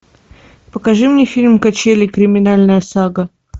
покажи мне фильм качели криминальная сага